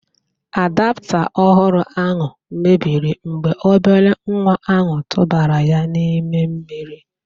Adapta ọhụrụ ahụ mebiri mgbe obere nwa ahụ tụbara ya n'ime mmiri